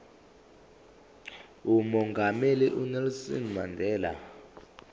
umongameli unelson mandela